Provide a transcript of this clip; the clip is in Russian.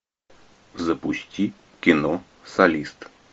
запусти кино солист